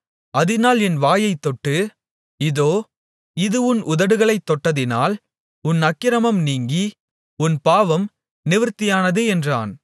அதினால் என் வாயைத் தொட்டு இதோ இது உன் உதடுகளைத் தொட்டதினால் உன் அக்கிரமம் நீங்கி உன் பாவம் நிவிர்த்தியானது என்றான்